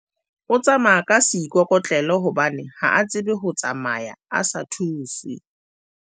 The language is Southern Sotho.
o tsamaya ka seikokotlelo hobane ha a tsebe ho tsamaya a sa thuswe